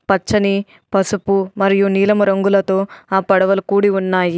పచ్చని పసుపు మరియు నీలము రంగులతో ఆ పడవలు కూడి ఉన్నాయి.